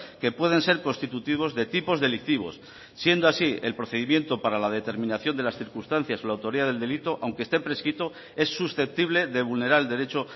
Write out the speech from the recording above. que pueden ser constitutivos de tipos delictivos siendo así el procedimiento para la determinación de las circunstancias o la autoría del delito aunque esté prescrito es susceptible de vulnerar el derecho